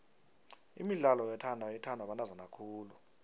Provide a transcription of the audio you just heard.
imidlalo yothando ithandwa bantazana khulu